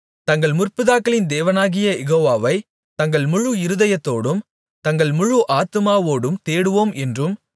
தங்கள் முற்பிதாக்களின் தேவனாகிய யெகோவாவை தங்கள் முழு இருதயத்தோடும் தங்கள் முழு ஆத்துமாவோடும் தேடுவோம் என்றும்